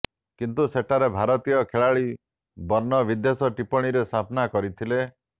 କିନ୍ତୁ ସେଠାରେ ଭାରତୀୟ ଖେଳାଳି ବର୍ଣ୍ଣ ବିଦ୍ବେଷ ଟିପ୍ପଣୀରେ ସାମ୍ନା କରିଥିଲେ